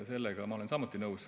Sellega ma olen samuti nõus.